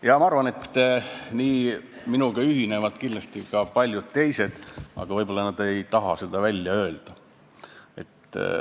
Ja ma arvan, et minuga ühinevad paljud teised, aga võib-olla nad ei taha seda välja öelda.